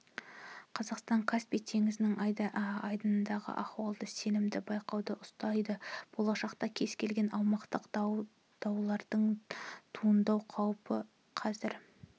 қазақстан каспий теңізінің айдынындағы ахуалды сенімді бақылауда ұстайды болашақта кез келген аумақтық даулардың туындау қаупі қазір